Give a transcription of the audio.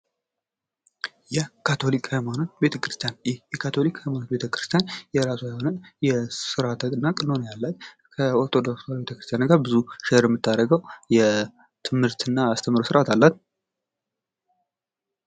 የካቶሊክ ሀይማኖት ቤተክርስቲያን:- ይህ የካቶሊክ ሀይማኖት ቤተክርስቲያን የራሷ የሆነ ስርዓት እና ቀኖና ያላት ከኦርቶዶክስ ተዋህዶ ቤተክርሰሰቲያን ብዙ ሸር የምታደርገዉ ስርዓት አላት።